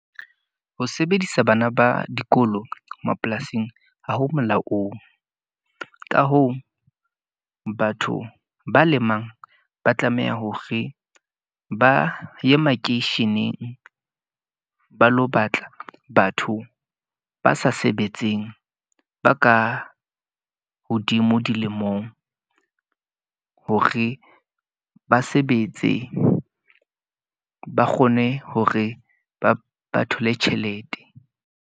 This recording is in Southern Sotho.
Ho sebedisa bana ba dikolo mapolasing ha ho molaong. Ka hoo, batho ba lemang ba tlameha hore ba ye makeisheneng ba lo batla batho ba sa sebetseng, ba ka hodimo dilemong. Hore ba sebetse, ba kgone hore ba thole tjhelete.